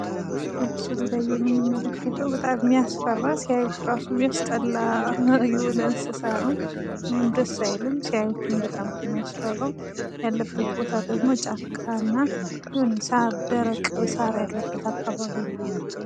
በምስሉ ላይ የምንመለከተው በጣም የሚያስፈራ ሲያዩት ራሱ ሚያስጠላ የሆነ እንስሳት ነው ።ደስ አይልም ሲያዩትም በጣም ነው ሚያስፈራው። ያለበት ቦታ ደግሞ ጫካና ደረቅ ሳር ያለበት አካባቢ ነው ።